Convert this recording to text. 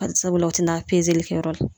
Bari sabula o te na kɛyɔrɔ la